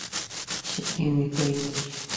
сергей микаилович